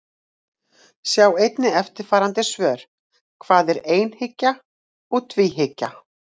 Sjá einnig eftirfarandi svör: Hvað er einhyggja og tvíhyggja?